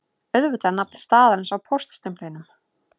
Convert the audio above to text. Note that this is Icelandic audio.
Auðvitað er nafn staðarins á póststimplinum